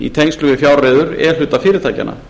í tengslum við fjárreiður e hluta fyrirtækjanna